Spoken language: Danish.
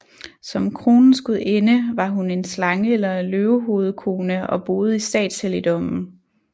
Som kronens gudinde var hun en slange eller en løvehovedkone og boede i statshelligdommen